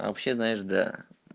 а вообще знаешь да